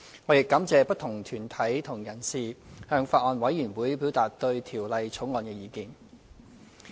我亦感謝不同團體和人士向法案委員會表達對《條例草案》的意見。